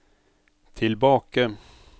tilbake